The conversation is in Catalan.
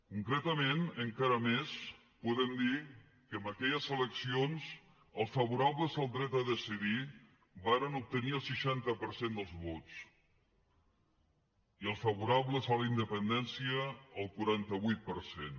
concretament encara més podem dir que en aquelles eleccions els favorables al dret a decidir varen obtenir el seixanta per cent dels vots i els favorables a la independència el quaranta vuit per cent